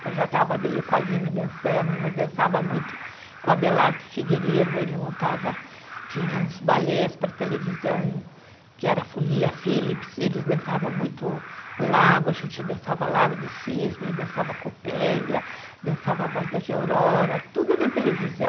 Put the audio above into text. que eu já estava meio com a Lina dançando, mas dançava muito com o Abelardo Figueiredo, ele montava, tinha uns balés para televisão, que era a Folia Philips, eles dançavam muito lago, a gente dançava Lago do Cisne, dançava Copélia, dançava Bordas de Aurora, tudo na televisão.